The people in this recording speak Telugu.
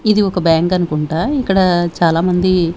ఇది ఒక బ్యాంక్ అనుకుంటా ఇక్కడ చాలామంది.